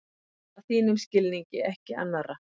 Að þínum skilningi, ekki annarra.